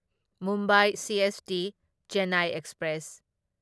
Mumbai CST Chennai express